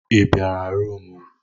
I bịara rumụ m.